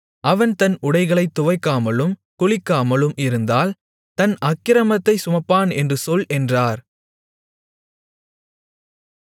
அவன் தன் உடைகளைத் துவைக்காமலும் குளிக்காமலும் இருந்தால் தன் அக்கிரமத்தைச் சுமப்பான் என்று சொல் என்றார்